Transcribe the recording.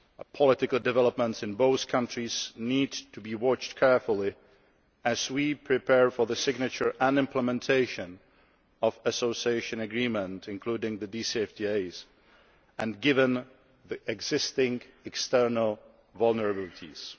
Political developments in both countries need to be watched carefully as we prepare for the signature and implementation of Association Agreements including the Deep and Comprehensive Free Trade Areas and given the existing external vulnerabilities.